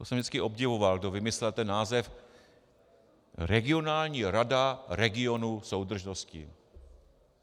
To jsem vždycky obdivoval, kdo vymyslel ten název regionální rada regionu soudržnosti.